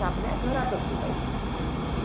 हो हो यात्रेला जातात आधी